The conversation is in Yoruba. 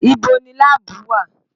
Ibo ni láàbù wà?